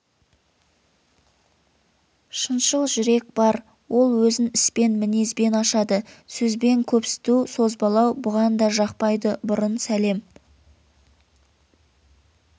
шыншыл жүрек бар ол өзін іспен мінезбен ашады сөзбен көпсіту созбалау бұған да жақпайды бұрын сәлем